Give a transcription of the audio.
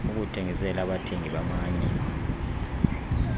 ukuthengisela abathengi bamanye